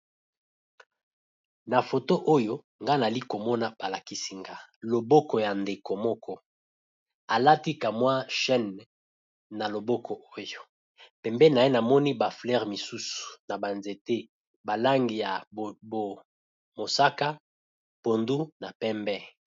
na foto oyo ngana ali komona balakisinga loboko ya ndeko moko alatikamwa chane na loboko oyo pembe na ye namoni baflere mosusu na banzete balangi ya bomosaka pondu na pembe